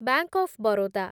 bank of Baroda